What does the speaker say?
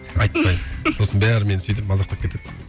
айтпаймын сосын бәрі мені сөйтіп мазақтап кетеді